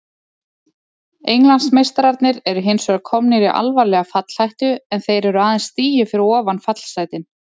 Englandsmeistararnir eru hinsvegar komnir í alvarlega fallhættu en þeir eru aðeins stigi fyrir ofan fallsætin.